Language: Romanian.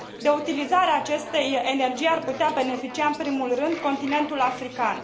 De utilizarea acestei energii ar putea beneficia în primul rând continentul african.